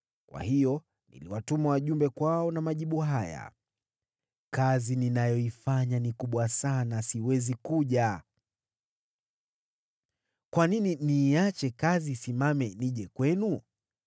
Kwa hiyo niliwatuma wajumbe kwao na majibu haya: “Kazi ninayoifanya ni kubwa sana, siwezi kuja. Kwa nini niiache kazi isimame nije kwenu?”